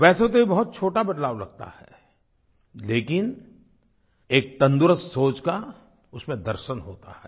वैसे तो ये बहुत छोटा बदलाव लगता है लेकिन एक तंदरूस्त सोच का उसमें दर्शन होता है